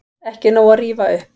Ekki nóg að rífa upp